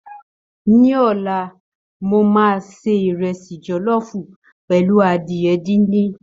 Ní ọlá, mo máa se ìrẹsì jọ̀lọ́ọ̀fù pẹ̀lú adìyẹ díndín